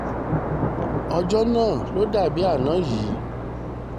ọjọ́ náà ló dà bíi àná yìí